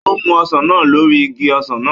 Ó mú ọsàn náà lórí igi ọsàn náà